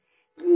जी